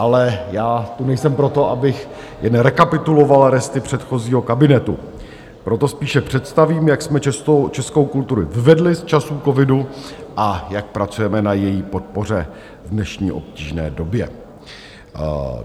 Ale já tu nejsem proto, abych jen rekapituloval resty předchozího kabinetu, proto spíše představím, jak jsme českou kulturu vyvedli z časů covidu a jak pracujeme na její podpoře v dnešní obtížné době.